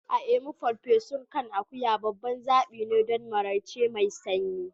A Imo, farfesun kan akuya babban zaɓi ne don maraice mai sanyi.